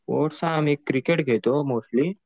Sports मी cricket खेळतो mostly.